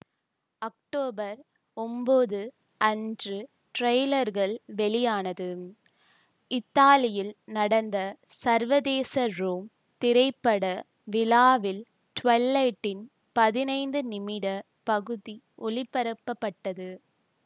October ஒன்போது அன்று டிரெய்லர்கள் வெளியானது இத்தாலியில் நடந்த சர்வதேச ரோம் திரைப்பட விழாவில் ட்விலைட்டின் பதினைந்து நிமிடப் பகுதி ஒளிபரப்பப்பட்டது